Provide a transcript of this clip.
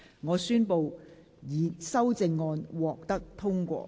我宣布修正案獲得通過。